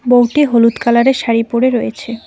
বউটি হলুদ কালারের শাড়ি পরে রয়েছে।